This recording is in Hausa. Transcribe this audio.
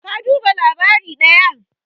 ka duba labari daya?